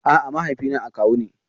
A'a, mahaifina akawu ne.